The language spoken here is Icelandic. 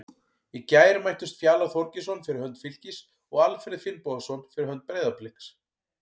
Í gær mættust Fjalar Þorgeirsson fyrir hönd Fylkis og Alfreð Finnbogason fyrir hönd Breiðabliks.